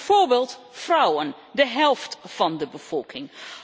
Bijvoorbeeld vrouwen, de helft van de bevolking.